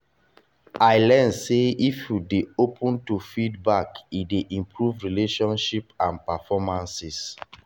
i learn sey if you dey open to feedback e dey improve relationships and performances